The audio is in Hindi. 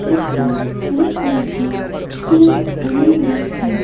जिस पर हरे कलर की छक्र बनी हुई है।